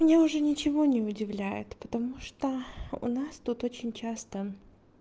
меня уже ничего не удивляет потому что у нас тут очень часто